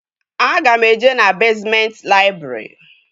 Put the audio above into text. Aga m eje na bezmenti laịbrị